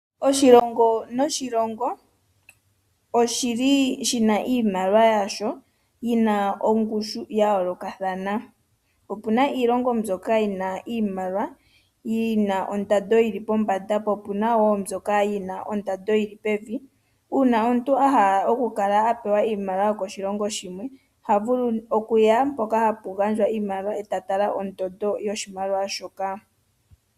Oshilongo noshilongo oshili shina iimaliwa yasho yina ongushu ya yoolokathana opena iilongo mbyoka yina iimaliwa yina ondando yili pombanda po opena iilongo mbyoka yina ondando yili pevi uuna omuntu ahala okuka talela po ohakala apewa iimaliwa yokoshilongoa shimwe